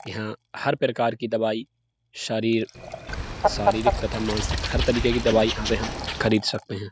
यहां हर प्रकार की दवाई शरीर शारीरिक तथा मानसिक हर तरीके की दवाई यहां से हम खरीद सकते हैं।